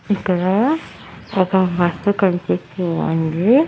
ఇక్కడా ఒక అక్క కనిపించిందండి.